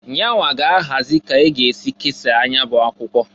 Yanwa ga -ahazi ka a ga-esi kesaa nya bụ akwụkwọ.